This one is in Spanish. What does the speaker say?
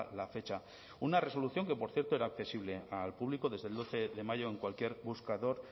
la fecha una resolución que por cierto era accesible al público desde el doce de mayo en cualquier buscador